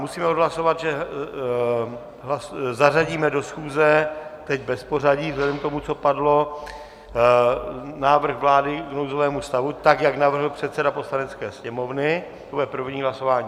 Musíme odhlasovat, že zařadíme do schůze, teď bez pořadí vzhledem k tomu, co padlo, návrh vlády k nouzovému stavu tak, jak navrhl předseda Poslanecké sněmovny, to bude první hlasování.